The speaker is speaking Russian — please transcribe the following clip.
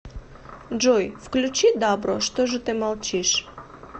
джой включи дабро что же ты молчишь